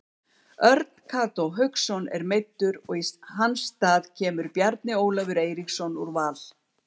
Örn Kató Hauksson er meiddur og í hans stað kemur Bjarni Ólafur Eiríksson úr Val.